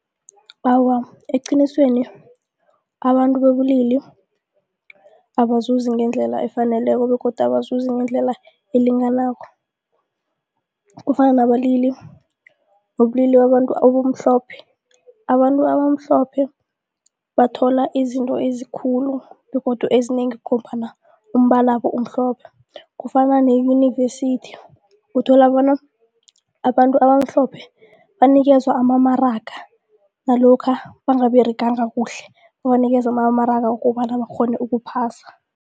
Awa, eqinisweni abantu bobulili abazuzi ngendlela efaneleko begodu abazuzi ngendlela elinganako kufana nabalili wobulili obumhlophe. Abantu abamhlophe bathola izinto ezikulu begodu ezinengi ngombana umbalabo umhlophe. Kufana neyunivesithi uthola bona abantu abamhlophe banikezwe amamaraga nalokha bangabereganga kuhle banikezwa amamaraga wokobana bakghone ukuphasa.